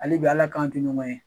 Hali bi Ala k'an to ɲɔgɔn ye.